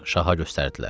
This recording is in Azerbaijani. Şaha göstərdilər.